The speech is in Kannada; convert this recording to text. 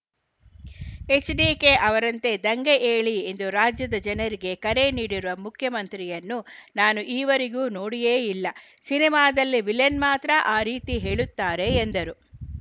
ಎಚ್‌ಡಿಕೆ ಅವರಂತೆ ದಂಗೆ ಏಳಿ ಎಂದು ರಾಜ್ಯದ ಜನರಿಗೆ ಕರೆ ನೀಡಿರುವ ಮುಖ್ಯಮಂತ್ರಿಯನ್ನು ನಾನು ಈವರೆಗೂ ನೋಡಿಯೇ ಇಲ್ಲ ಸಿನಿಮಾದಲ್ಲಿ ವಿಲನ್‌ ಮಾತ್ರ ಆ ರೀತಿ ಹೇಳುತ್ತಾರೆ ಎಂದರು